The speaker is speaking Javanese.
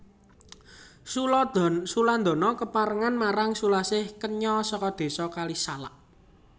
Sulandana kepranan marang Sulasih kenya saka Désa Kalisalak